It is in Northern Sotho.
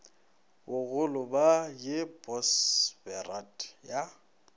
bagolo ba ye bosberad ya